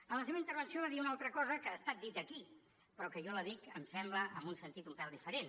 en la seva intervenció va dir una altra cosa que ha estat dita aquí però que jo la dic em sembla en un sentit un pèl diferent